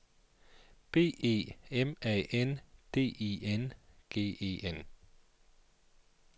B E M A N D I N G E N